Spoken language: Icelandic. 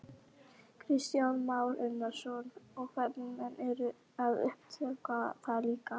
Kristján Már Unnarsson: Og ferðamenn eru að uppgötva það líka?